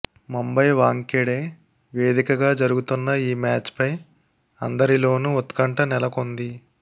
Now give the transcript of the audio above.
ముంబై వాంఖెడే వేదికగా జరుగుతున్న ఈ మ్యాచ్పై అందరిలోనూ ఉత్కంఠ నెలకొంది